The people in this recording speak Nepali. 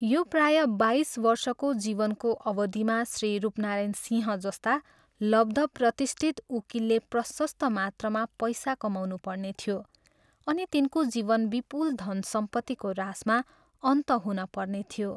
यो प्रायः बाइस वर्षको जीवनको अवधिमा श्री रूपनारायण सिंह जस्ता लब्धप्रतिष्ठित उकिलले प्रशस्त मात्रामा पैसा कमाउनुपर्ने थियो अनि तिनको जीवन विपुल धनसम्पत्तिको राशमा अन्त हुनपर्ने थियो।